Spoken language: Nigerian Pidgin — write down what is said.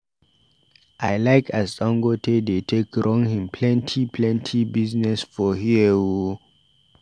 I like as Dangote dey take run him plenty plenty business for here o.